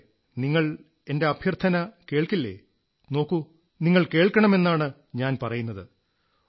കുട്ടികളേ നിങ്ങൾ എന്റെ അഭ്യർഥന കേൾക്കില്ലേ നോക്കൂ ഞാൻ പറയുന്നത് നിങ്ങൾ കേൾക്കണമെന്നാണ് ഞാൻ പറയുന്നത്